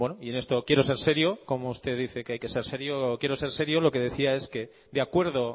y en esto quiero ser serio como usted dice que hay que ser serio quiero ser serio lo que decía es que de acuerdo